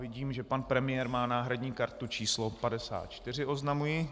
Vidím, že pan premiér má náhradní kartu číslo 54 - oznamuji.